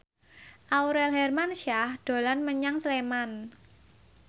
Aurel Hermansyah dolan menyang Sleman